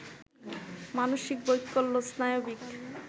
মানসিক বৈকল্য, স্নায়বিক